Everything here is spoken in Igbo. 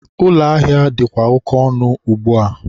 ụlọ ahịa dịkwa oke ọnụ ugbua.